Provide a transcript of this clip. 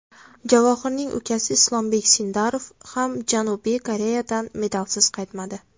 Javohirning ukasi Islombek Sindorov ham Janubiy Koreyadan medalsiz qaytmadi.